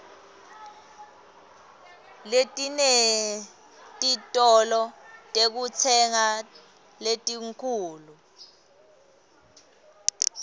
letinetitolo tekutsenga letinkhulu